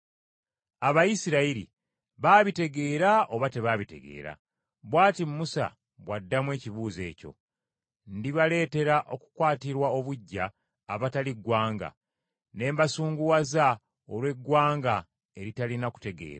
Abayisirayiri baabitegeera oba tebaabitegeera? Bw’ati Musa bw’addamu ekibuuzo ekyo: “Ndibaleetera okukwatirwa obuggya abatali ggwanga, ne mbasunguwaza olw’eggwanga eritalina kutegeera.”